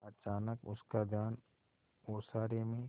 अचानक उसका ध्यान ओसारे में